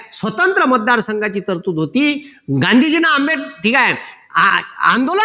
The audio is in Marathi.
स्वतंत्र मतदार संघाची तरतूद होती. गांधीजींनी ठीक आहे आंदोलन